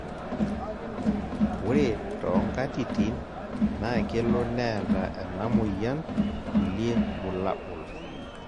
ore too nkatitin naa kelo neeta ena moyian kulie bulabol